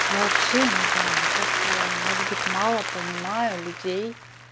я вообще не знаю мне кажется я может быть мало понимаю людей